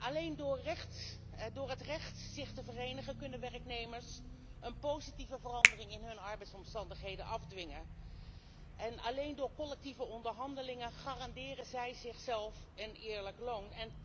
Alleen door het recht op vereniging kunnen werknemers een positieve verandering in hun arbeidsomstandigheden afdwingen en alleen door collectieve onderhandelingen garanderen zij zichzelf een eerlijk loon.